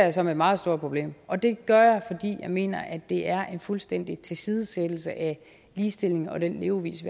jeg som et meget stort problem og det gør jeg fordi jeg mener at det er en fuldstændig tilsidesættelse af ligestillingen og den levevis